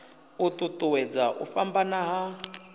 u ṱuṱuwedza u fhambana ha